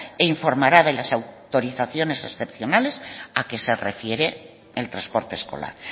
e informará de las autorizaciones excepcionales a que se refiere el transporte escolar